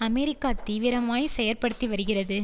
America தீவிரமாய் செயற்படுத்திவருகிறது